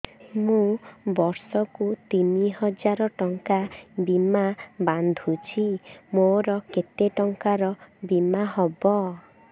ମୁ ବର୍ଷ କୁ ତିନି ହଜାର ଟଙ୍କା ବୀମା ବାନ୍ଧୁଛି ମୋର କେତେ ଟଙ୍କାର ବୀମା ହବ